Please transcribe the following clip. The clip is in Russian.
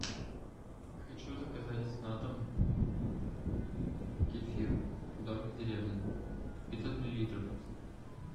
хочу заказать на дом кефир домик в деревне пятьсот миллилитров